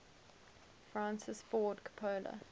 francis ford coppola